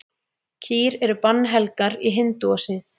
Kýr eru bannhelgar í hindúasið.